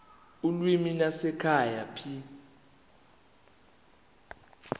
ulimi lwasekhaya p